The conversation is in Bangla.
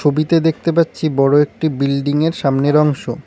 ছবিতে দেখতে পাচ্ছি বড় একটি বিল্ডিংয়ের সামনের অংশ।